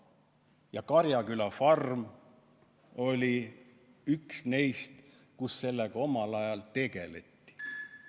Ja Karjaküla farm oli üks neist, kus sellega omal ajal tegeleti.